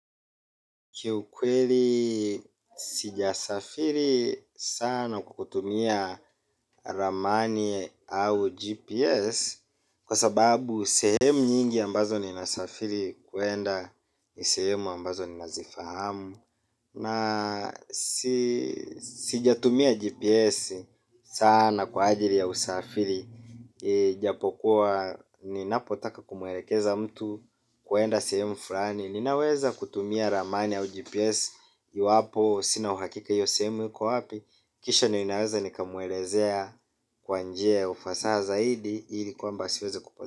Kiukweli sijasafiri sana kukutumia ramani au GPS. Kwa sababu sehemu nyingi ambazo ni nasafiri kuenda ni sehemu ambazo ninazifahamu. Na sijatumia GPS sana kwa ajili ya usafiri. Japokuwa ninapotaka kumuelekeza mtu kuenda sehemu fulani. Ninaweza kutumia ramani au GPS iwapo sina uhakika hiyo sehemu iko wapi. Kisha ninaweza nikamuelezea kwa njia ya ufasaha zaidi. Ili kwamba asiweze kupotea.